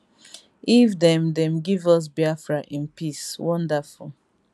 if dem dem give us biafra in peace wonderful